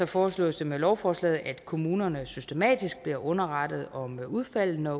foreslås det med lovforslaget at kommunerne systematisk bliver underrettet om udfaldet når